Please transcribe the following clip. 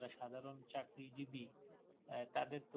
তাদের তো